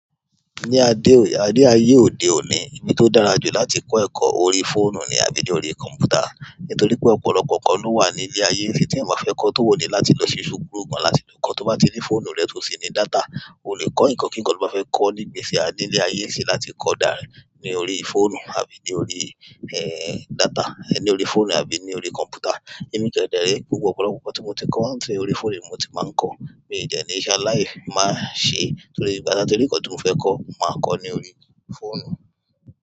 Ni aye ode oni, ibi ti o dára ju láti ko eko ni orí fóònù àbí orí komputa. Nítorí pé ọ̀pọ̀lọpọ̀ nǹkan ló wà ní ilé ayé tí ẹ̀yan ma fẹ́ kọ́, ti o ni láti lọ sí ṣúkúrù kan láti lè kọ́. Tó bá ní fóònù rẹ tó sì ní data, o lè kọ́ nǹkan kíkan tó bá fẹ́ kọ́ níbi tí a dé ní ile ayé yìí ṣe láti kọ́ dára ní orí fóònù àbí ní orí, eh, data, ní orí fóònù àbí ní orí kọ̀m̀pútà. Èmi kẹdẹrẹ, gbogbo ọ̀pọ̀lọpọ̀ nǹkan tí mo ti kọ́, wọ́n ń ṣe orí fóònù ni mo ti máa ń kọ́. Mi ò de ni sẹ́ aláìní máa ṣe torí bí bá dára tó rí nǹkan tí mo fẹ́ kọ́, màá kọ́ ní orí fóònù.